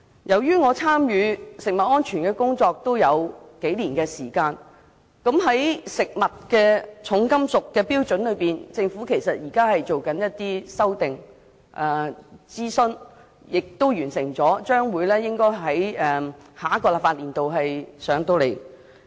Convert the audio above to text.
由於我參與食物安全的工作已有數年時間，因而知道在食物含重金屬的標準方面，政府其實正在進行修訂，並已完成諮詢，將於下一個立法年度向立法會提交建議。